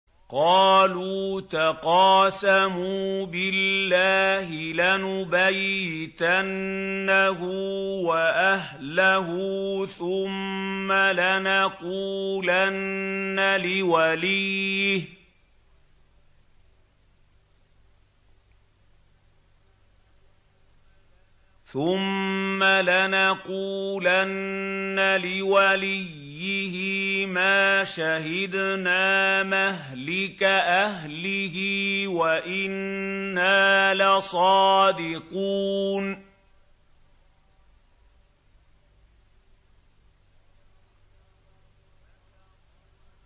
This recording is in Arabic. قَالُوا تَقَاسَمُوا بِاللَّهِ لَنُبَيِّتَنَّهُ وَأَهْلَهُ ثُمَّ لَنَقُولَنَّ لِوَلِيِّهِ مَا شَهِدْنَا مَهْلِكَ أَهْلِهِ وَإِنَّا لَصَادِقُونَ